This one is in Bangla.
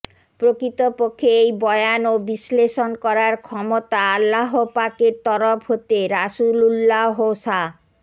প্রকৃতপক্ষে এই বয়ান ও বিশ্লেষণ করার ক্ষমতা আল্লাহপাকের তরফ হতে রাসূলুল্লাহ সা